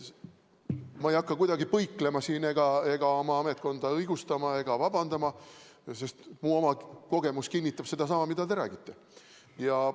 Ma ei hakka kuidagi põiklema, oma ametkonda õigustama ega vabandama, sest minu oma kogemus kinnitab sedasama, mida te räägite.